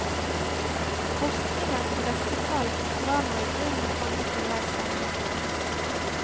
Forskningen på dette felt var nå i grunnen kommet til veis ende.